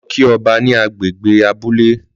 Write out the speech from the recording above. Lọ kí ọba ní gbàgede abúlé